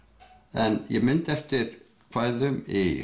en ég mundi eftir kvæðum í